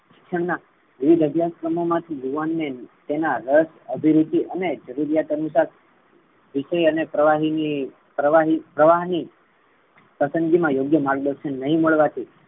શિક્ષણ ના વિવિધ અભ્યાસ ક્રમો માથી યુવાન ને તેના રસ અધીરિત અને જરૂરિયાત અનુસાર વિષય અને પ્રવાહી ની પ્રવાહ ની પસંદીગીની મા યોગ્ય માર્ગ દર્શન નઈ મળવાથી.